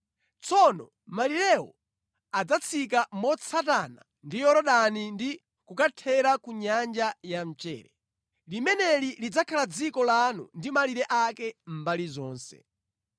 Tsono malirewo adzatsika motsatana ndi Yorodani ndi kukathera ku Nyanja ya Mchere. “ ‘Limeneli lidzakhala dziko lanu ndi malire ake mbali zonse.’ ”